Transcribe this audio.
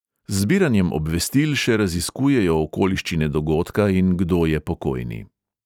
Z zbiranjem obvestil še raziskujejo okoliščine dogodka in kdo je pokojni.